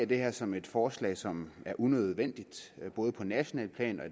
det her som et forslag som er unødvendigt både på nationalt plan